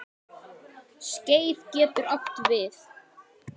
Skeið getur átt við